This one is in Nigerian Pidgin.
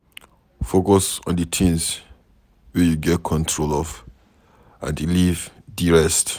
Focus on di things wey you get control of and leave di rest